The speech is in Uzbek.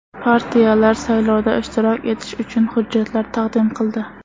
Partiyalar saylovda ishtirok etish uchun hujjatlar taqdim qildi.